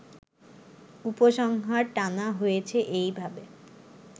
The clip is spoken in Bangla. উপসংহার টানা হয়েছে এইভাবে